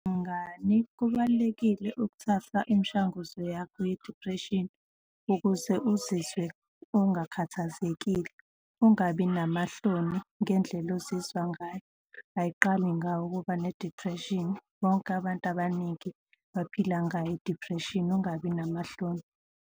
Mngani, kubalulekile ukuthatha imishanguzo yakho ye-depression ukuze uzizwe ungakhathazekile. Ungabi namahloni ngendlela ozizwa ngayo, ayiqali ngawe ukuba ne-depression. Bonke abantu abaningi baphila ngayo i-depression, ungabi namahloni.